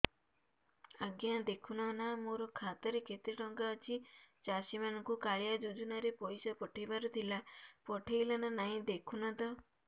ଆଜ୍ଞା ଦେଖୁନ ନା ମୋର ଖାତାରେ କେତେ ଟଙ୍କା ଅଛି ଚାଷୀ ମାନଙ୍କୁ କାଳିଆ ଯୁଜୁନା ରେ ପଇସା ପଠେଇବାର ଥିଲା ପଠେଇଲା ନା ନାଇଁ ଦେଖୁନ ତ